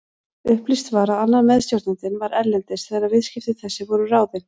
Upplýst var að annar meðstjórnandinn var erlendis þegar viðskipti þessi voru ráðin.